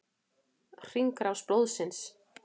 Hringrás blóðsins.